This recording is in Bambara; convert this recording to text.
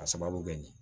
A sababu bɛ kɛ nin ye